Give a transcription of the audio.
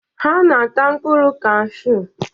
Ha na-ata mkpụrụ kashuu.